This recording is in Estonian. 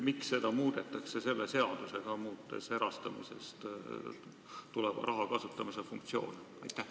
Miks seda muudetakse selle seadusega, muutes erastamisest saadava raha kasutamise põhimõtteid?